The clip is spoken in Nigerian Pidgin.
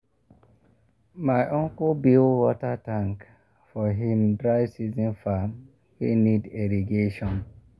my uncle build water tank for him dry season farm wey need irrigation.